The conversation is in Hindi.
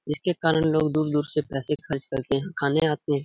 जिसके कारण लोग दूर-दूर से पैसे खर्च करके खाने आते है।